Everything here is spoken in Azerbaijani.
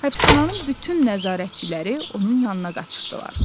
Həbsxananın bütün nəzarətçiləri onun yanına qaçışdılar.